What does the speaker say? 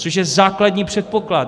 Což je základní předpoklad.